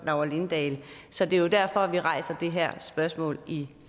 laura lindahl så det er derfor vi rejser det her spørgsmål i